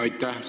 Aitäh!